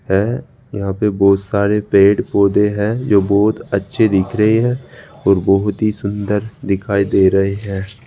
है यहां पे बहुत सारे पेड़ पौधे हैं जो बहुत अच्छे दिख रहे हैं और बहुत ही सुंदर दिखाई दे रहे हैं।